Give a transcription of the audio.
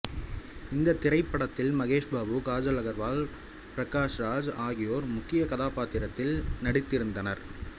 இத்திரைப்படத்தில் மகேஷ் பாபு கஜால் அகர்வால் பிரகாஸ்ராஜ் ஆகியோர் முக்கிய கதாப்பாத்திரத்தில் நடித்திருந்தனர்